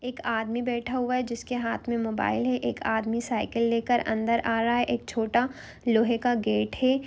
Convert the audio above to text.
एक आदमी बैठा हुआ है जिसे हाथ में मोबाइल है एक आदमी साईकिल लेकर अंदर आ रहा है छोटा लोहे का गेट है ।